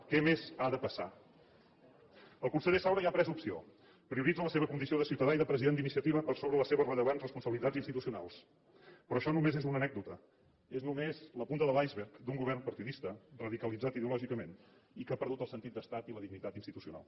què més ha de passar el conseller saura ja ha pres opció prioritza la seva condició de ciutadà i de president d’iniciativa per sobre les seves rellevants responsabilitats institucionals però això només és una anècdota és només la punta de l’iceberg d’un govern partidista radicalitzat ideològicament i que ha perdut el sentit d’estat i la dignitat institucional